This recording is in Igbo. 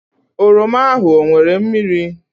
oroma ahụ ọ nwere mmiri